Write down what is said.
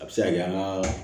A bɛ se ka kɛ an ka